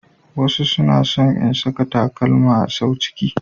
Wasu suna son in saka takalma sau ciki.